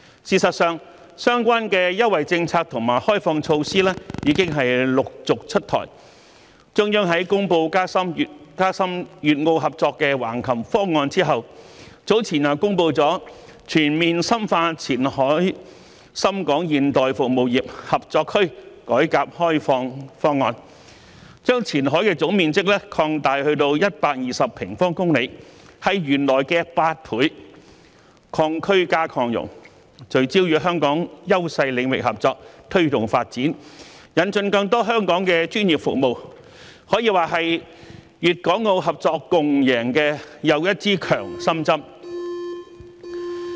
事實上，相關的優惠政策和開放措施已陸續出台，中央在公布加深粵澳合作的《橫琴粵澳深度合作區建設總體方案》後，早前又公布了《全面深化前海深港現代服務業合作區改革開放方案》，將前海的總面積擴大至120平方公里，是原來的8倍，"擴區"加"擴容"，聚焦與香港優勢領域合作，推動發展，引進更多香港的專業服務，可以說是粵港澳合作共贏的又一支強心針。